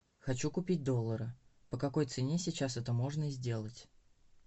хочу купить доллары по какой цене сейчас это можно сделать